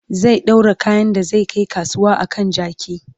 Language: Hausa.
zai ɗaura kayan da zai Kai kasuwa a kan jaki